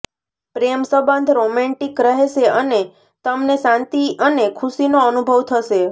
પ્રેમ સંબંધ રોમેન્ટિક રહેશે અને તમને શાંતિ અને ખુશીનો અનુભવ થશે